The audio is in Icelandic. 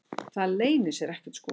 Það leynir sér ekkert sko.